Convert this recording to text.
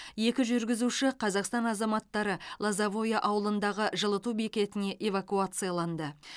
екі жүргізуші қазақстан азаматтары лозовое ауылындағы жылыту бекетіне эвакуацияланды